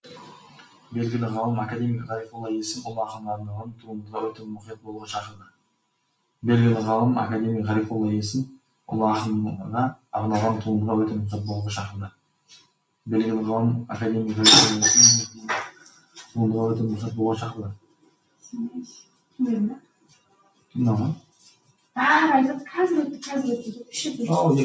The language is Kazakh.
белгілі ғалым академик ғарифолла есім ұлы ақынға арналған туындыға өте мұқият болуға шақырды